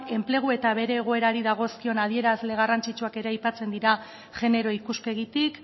enplegu eta bere egoerari dagozkion adierazle garrantzitsuak ere aipatzen dira genero ikuspegitik